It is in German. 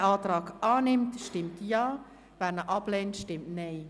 Wer den Kreditantrag annimmt, stimmt Ja, wer diesen ablehnt, stimmt Nein.